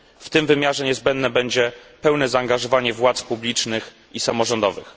W tym wymiarze niezbędne będzie pełne zaangażowanie władz publicznych i samorządowych.